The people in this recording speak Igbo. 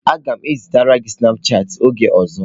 Aga m ezitere gị snapụ chatị oge ọzọ